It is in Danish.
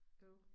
Øv